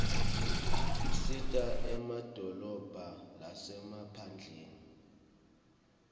usita emadolobha lasemaphandleni